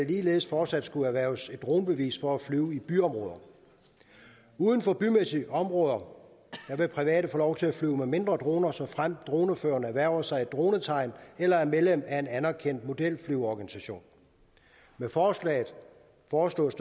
ligeledes fortsat skulle erhverve dronebevis for at flyve i byområder uden for bymæssige områder vil private få lov til at flyve med mindre droner såfremt droneføreren erhverver sig et dronetegn eller er medlem af en anerkendt modelflyverorganisation med forslaget foreslås